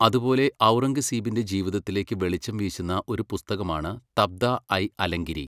അതുപോലെ ഔറംഗസീബിന്റെ ജീവിതത്തിലേക്ക് വെളിച്ചം വീശുന്ന ഒരു പുസ്തകമാണ് തബ്ദ ഐ അലംഗിരി.